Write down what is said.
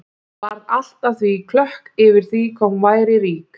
Varð allt að því klökk yfir því hvað hún væri rík.